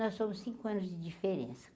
Nós somos cinco anos de diferença.